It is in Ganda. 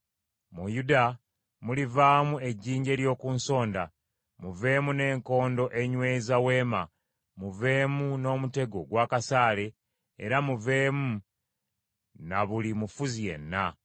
Mu Yuda mulivaamu ejjinja ery’oku nsonda, muveemu n’enkondo enyweza weema, muveemu n’omutego ogw’akasaale era muveemu na buli mufuzi yenna.